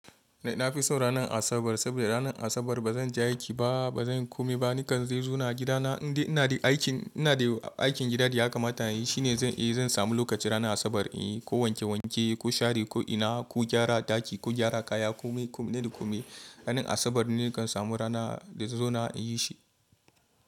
Na fi son ranar Asabar saboda ranar Asabar ba zan je aiki ba, ba zan komai ba. Nikan zai zo na a gidana inde ina da aikin gida da ya kamata yi. Shi ne zan samu lokaci ranar Asabar inyi ko wanke wanke, ko share, ko ina, ko gyara a daki, ko gyara kaya, komai komi na da komi. Ranar Asabar ne nikan samu rana da zai zo na yi shi.